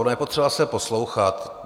Ono je potřeba se poslouchat.